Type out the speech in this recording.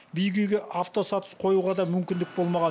биік үйге автосаты қоюға да мүмкіндік болмаған